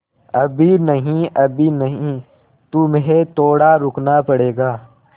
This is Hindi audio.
अभी नहीं अभी नहीं तुम्हें थोड़ा रुकना पड़ेगा